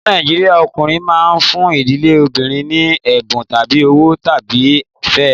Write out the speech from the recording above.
Ní Nàìjíríà, ọkùnrin máa ń fún ìdílé obìnrin ní ẹ̀bùn tàbí owó láti fẹ́ ẹ.